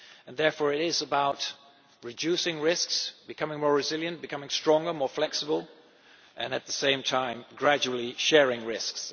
Therefore it is about reducing risks, becoming more resilient, becoming stronger and more flexible, and, at the same time, gradually sharing risks.